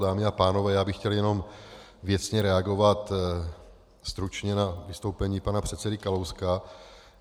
Dámy a pánové, já bych chtěl jenom věcně reagovat stručně na vystoupení pana předsedy Kalouska.